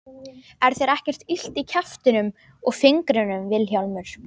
Er þér ekkert illt í kjaftinum og fingrinum Vilhjálmur?